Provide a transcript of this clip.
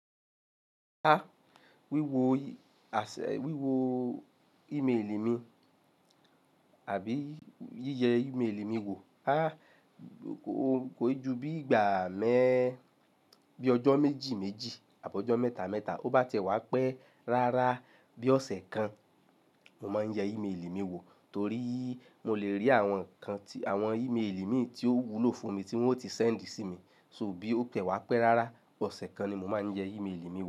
A wíwo ase, wíwo email mi àbí yíyẹ email mi wò. A kò, kò yí ju bí ìgbà mẹ́, bí ọjọ́ méjì méjì àbi ọjọ́ mẹ́ta mẹ́ta. Ó bá tẹ wá pẹ́ rárá bí ọ̀sẹ̀ kan, mo máa ń yẹ email mi wò torí mo lè rí àwọn nǹkan tí, àwọn email mi tí ó wúlò fún mi tí wọ́n ti send sí mi. So bí ó pẹ́ wá pẹ́ rárá, ọ̀sẹ̀ kan ni mo máa ń yẹ email mi wò.